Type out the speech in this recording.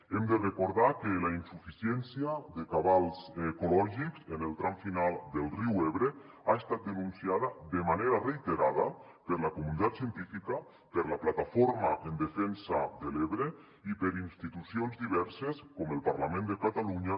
hem de recordar que la insuficiència de cabals ecològics en el tram final del riu ebre ha estat denunciada de manera reiterada per la comunitat científica per la plataforma en defensa de l’ebre i per institucions diverses com el parlament de catalunya